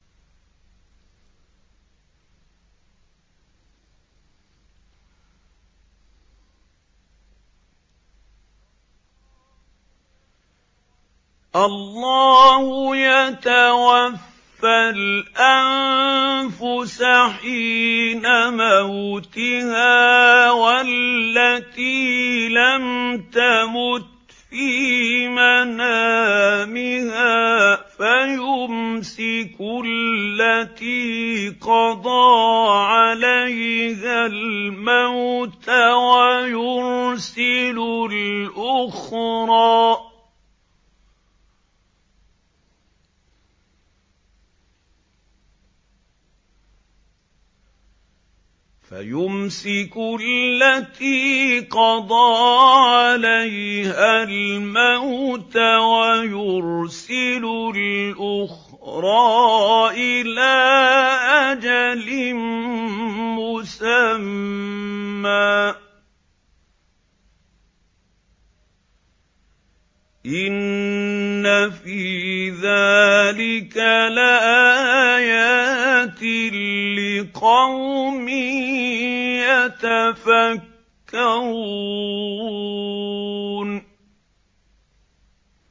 اللَّهُ يَتَوَفَّى الْأَنفُسَ حِينَ مَوْتِهَا وَالَّتِي لَمْ تَمُتْ فِي مَنَامِهَا ۖ فَيُمْسِكُ الَّتِي قَضَىٰ عَلَيْهَا الْمَوْتَ وَيُرْسِلُ الْأُخْرَىٰ إِلَىٰ أَجَلٍ مُّسَمًّى ۚ إِنَّ فِي ذَٰلِكَ لَآيَاتٍ لِّقَوْمٍ يَتَفَكَّرُونَ